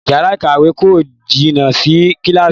Yàrá ìkàwé kò jìnà sí Kíláàsì